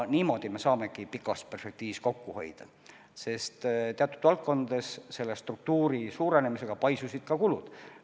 Niimoodi me saamegi pikas perspektiivis kokku hoida, sest teatud valdkondades selle struktuuri suurenemisega paisusid ka kulud.